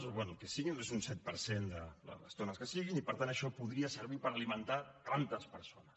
o bé el que sigui un set per cent de les tones que siguin i per tant això podria servir per alimentar tantes persones